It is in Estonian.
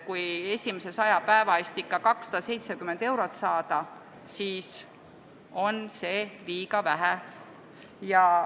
Kui esimese 100 päeva eest ikka vaid 270 eurot kuus saada, siis on see liiga vähe.